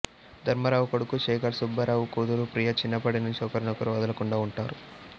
ధర్మారావు కొడుకు శేఖర్ సుబ్బారావు కూతురు ప్రియ చిన్నప్పటి నుంచీ ఒకరినొకరు వదలకుండా ఉంటారు